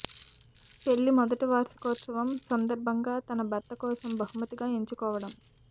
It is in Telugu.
పెళ్లి మొదటి వార్షికోత్సవం సందర్భంగా తన భర్త కోసం బహుమతిగా ఎంచుకోవడం